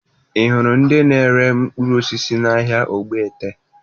Ị hụrụ ndị na-ere mkpụrụ osisi n'ahịa Ogbete?